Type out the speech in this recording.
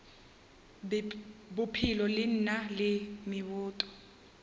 bophelo le na le meboto